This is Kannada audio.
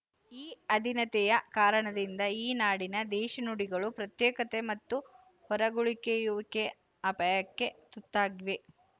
ಈ ಅಧೀನತೆಯ ಕಾರಣದಿಂದ ಈ ನಾಡಿನ ದೇಶೀ ನುಡಿಗಳು ಪ್ರತ್ಯೇಕತೆ ಮತ್ತು ಹೊರಗುಳಿಕೆಯುವಿಕೆಯ ಅಪಾಯಕ್ಕೆ ತುತ್ತಾಗಿವೆ